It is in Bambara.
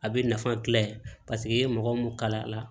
A bɛ nafa gila paseke i ye mɔgɔ mun kala la